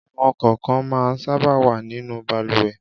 Àwọn kọ̀ǹkàn máa sábà wà nínú balùwẹ̀.